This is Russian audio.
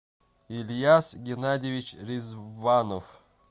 ильяз геннадьевич резванов